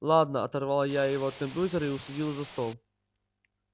ладно оторвала я его от компьютера и усадила за стол